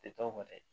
Tɛ dɔw kɔni ye